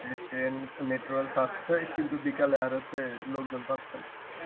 যে train metro rail ছাড়ছে কিন্তু বিকেলে আর হচ্ছে লোকজন পাচ্ছে না